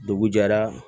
Dugu jɛra